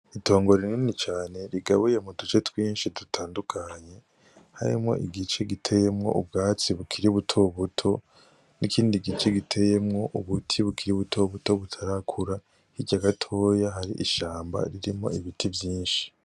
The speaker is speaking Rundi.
Itongo rinini cane rigabuye mu duce twinshi dutandukanye harimwo igice giteyemwo ubwatsi bukiri butobuto n'ikindi gice giteyemwo ubuti bukiri buto buto butarakura hirya gatoya hari ishamba ririmwo ibiti vyinshi.